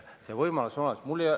See võimalus on olemas.